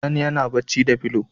Sani yana bacci da fulo